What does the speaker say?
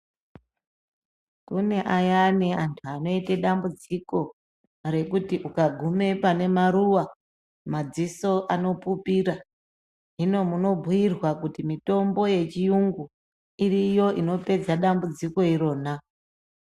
Kune ayani antu anoita dambudziko rekuti ukagume pane maruwa madziso anopupira. Hino munobhiirwa kuti mitombo yechiyungu iriyo inopedza dambudziko irona.